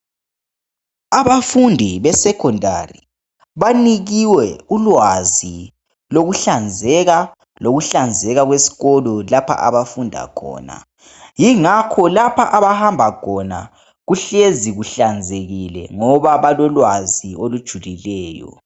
Abafundi besecondary banikiwe ulwazi lokuhlanzeka lokuhlanzeka kwesikolo lapha abafunda khona ngingakho lapho abahamba khona kuhlezi kuhlanzekile ngoba balolwazi olujulileyo.